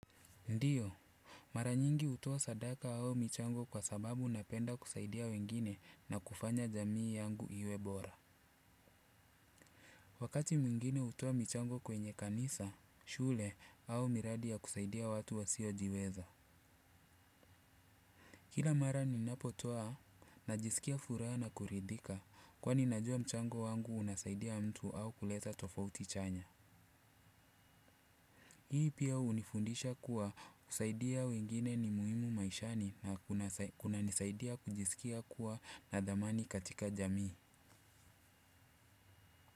Ndiyo. Mara nyingi hutoa sadaka au michango kwa sababu napenda kusaidia wengine na kufanya jamii yangu iwe bora. Wakati mwingine hutoa michango kwenye kanisa, shule au miradi ya kusaidia watu wasio jiweza. Kila mara ninapotoa najisikia furaha na kuridhika kwani najua mchango wangu unasaidia mtu au kuleta tofauti chanya. Hii pia hunifundisha kuwa kusaidia wengine ni muhimu maishani na kunanisaidia kujisikia kuwa na dhamani katika jamii.